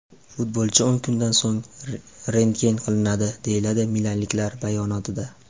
Futbolchi o‘n kundan so‘ng rentgen qilinadi”, deyiladi milanliklar bayonotida.